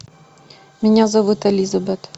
меня зовут элизабет